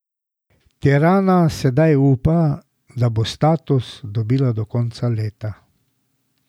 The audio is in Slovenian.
Tirana sedaj upa, da bo status dobila do konca leta.